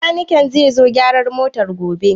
Bakaniken zai gyara motar gobe?